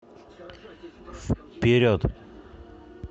вперед